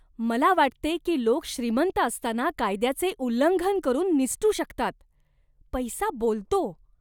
मला वाटते की लोक श्रीमंत असताना कायद्याचे उल्लंघन करून निसटू शकतात. पैसा बोलतो!